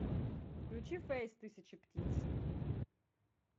включи фэйс тысячи птиц